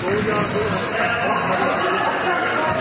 ਦੋ ਹਜਾਰ ਦੇ ਅੰਤ ਤਕ ਬਹੁਤ ਸਾਰੀ ਵਿਦੇਸ਼ੀ companies ਨੇ